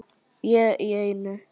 Ég í einu.